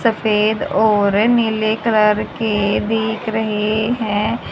सफेद और नीले कलर के दिख रहे हैं।